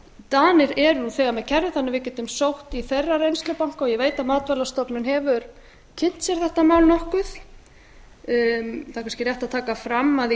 danir eru nú þegar með kerfi þannig að við getum sótt í þeirra reynslubanka og ég veit að matvælastofnun hefur kynnt sér þetta mál nokkuð það er kannski rétt að taka fram að í